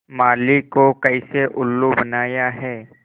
माली को कैसे उल्लू बनाया है